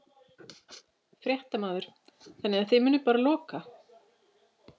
Fréttamaður: Þannig að þið munið bara loka?